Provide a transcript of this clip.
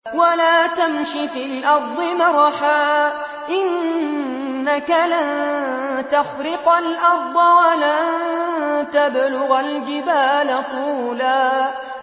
وَلَا تَمْشِ فِي الْأَرْضِ مَرَحًا ۖ إِنَّكَ لَن تَخْرِقَ الْأَرْضَ وَلَن تَبْلُغَ الْجِبَالَ طُولًا